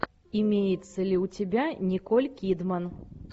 имеется ли у тебя николь кидман